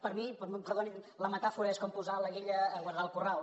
per mi perdoni’m la metàfora és com posar la guilla a guardar el corral